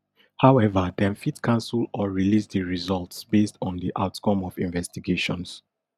however dem fit cancel or release di results based on di outcome of investigation